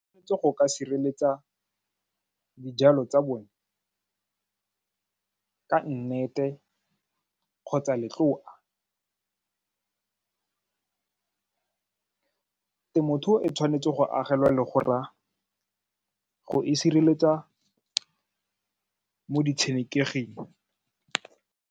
Go ka sireletsa dijalo tsa bone ka nnete kgotsa letloa temothuo e tshwanetse go agelwa legora go e sireletsa mo ditshenekeging.